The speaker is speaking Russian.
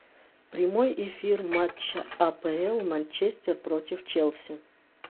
прямой эфир матча апл манчестер против челси